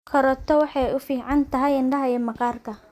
Karooto waxay u fiican tahay indhaha iyo maqaarka.